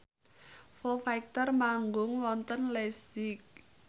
Foo Fighter manggung wonten leipzig